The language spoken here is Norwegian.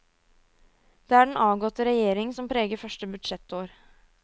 Det er den avgåtte regjering som preger første budsjettår.